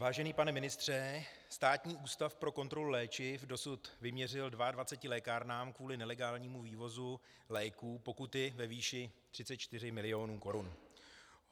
Vážený pane ministře, Státní ústav pro kontrolu léčiv dosud vyměřil 22 lékárnám kvůli nelegálnímu vývozu léků pokuty ve výši 34 mil. korun.